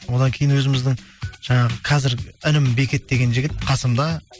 одан кейін өзіміздің жаңағы қазір інім бекет деген жігіт қасымда